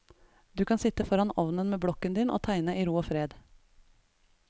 Du kan sitte foran ovnen med blokken din og tegne i ro og fred.